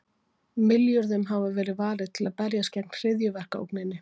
Milljörðum hafi verið varið til að berjast gegn hryðjuverkaógninni.